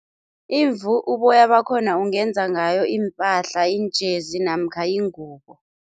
Imvu uboya bakhona ungenza ngayo, iimpahla, iinjezi namkha iingubo.